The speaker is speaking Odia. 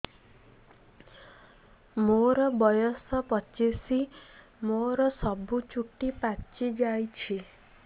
ମୋର ବୟସ ପଚିଶି ମୋର ସବୁ ଚୁଟି ପାଚି ଯାଇଛି